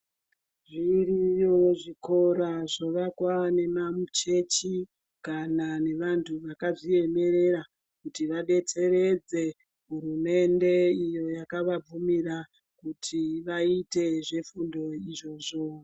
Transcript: Zviriyo zvikora zvavakwa nemachechi kana nevanhu vakazviemerera kuti vadetseredze hurumende iyo hyakavabvumira kuti vaite zvefundo izvozvo.